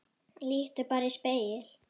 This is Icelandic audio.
Líttu bara í spegil.